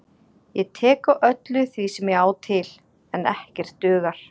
Ég tek á öllu því sem ég á til, en ekkert dugar.